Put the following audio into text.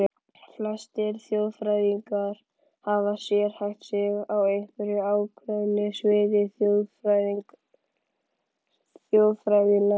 Flestir þjóðfræðingar hafa sérhæft sig á einhverju ákveðnu sviði þjóðfræðinnar.